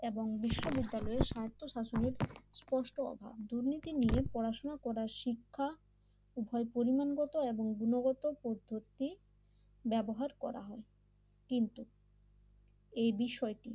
এবং বিশ্ববিদ্যালয়ের স্বার্থ শাসনের স্পষ্ট অভাব দুর্নীতি নিয়ে পড়াশোনা করার শিক্ষা উভয় পরিমাণগত এবং গুণগত পদ্ধতি ব্যবহার করা হয় কিন্তু এই বিষয়টি